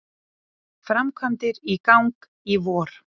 Framkvæmdir í gang í vor